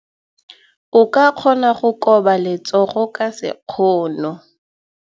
O ka kgona go koba letsogo ka sekgono.